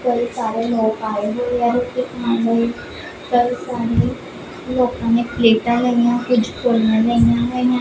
ਕਈ ਸਾਰੇ ਲੋਗ ਆਏ ਹੋਏ ਹੈ ਇੱਥੇ ਖਾਣ ਲਈ ਲੋਕਾਂ ਨੇ ਕੁਝ ਪਲੇਟਾਂ ਲਈਆਂ ਕੁਝ ਕੋਲੀਆਂ ਲਈਆਂ ਹੋਈਆਂ --